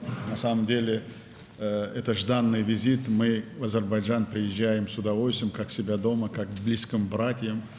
Əslində, bu, gözlənilən bir səfərdir, biz Azərbaycana böyük həvəslə gəlirik, özümüzü evdəki kimi, yaxın qardaş evindəki kimi hiss edirik.